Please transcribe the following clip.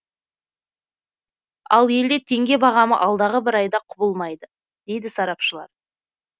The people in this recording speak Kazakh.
ал елде теңге бағамы алдағы бір айда құбылмайды дейді сарапшылар